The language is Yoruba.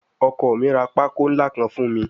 Ọkọ mi ra pákó ńlá kan fún mi